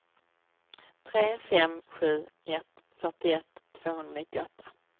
tre fem sju ett fyrtioett tvåhundranittioåtta